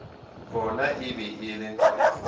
gona e be e le